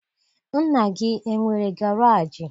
Nna gị enwere garaajị?